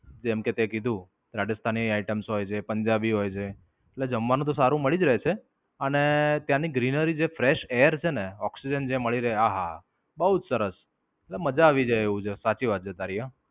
જેમકે, તે કીધું રાજસ્થાની items હોય જે પંજાબી હોય છે. એટલે જમવાનું તો સારું મળી જ રહે છે. અને ત્યાંની Greenery જે fresh air છેને Oxygen જે મળી રહે આહ બઉ જ સરસ. એટલે, મજા આવી જાય એવું છે. સાચી વાત છે તારી હા.